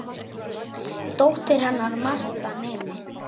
Dóttir hennar er Marta nemi.